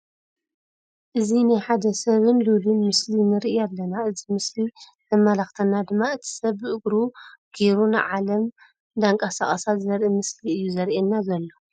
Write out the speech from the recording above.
እዚ ናይ ሓደ ሰብን ሉሉን ምስሊ ንርኢ ኣለና። እዚ ምስሊ ዘማላክተና ድማ እቲ ሰብ ብእግሩ ጌሩ ንዓለም ንዳቀሳቀሳ ዘርኢ ምስሊ እዩ ዘርአየና ዘሎ።